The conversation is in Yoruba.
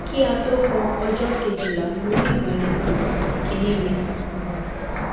ki a tó kan ọjọ́ kejila mo ni ibalopọ̀ ikini mi um